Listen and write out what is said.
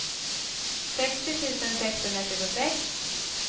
sextio tusen sexhundratjugosex